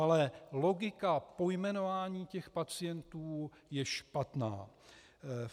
Ale logika pojmenování těch pacientů je špatná.